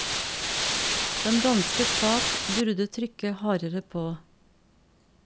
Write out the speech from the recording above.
Den danske stat burde trykke hardere på.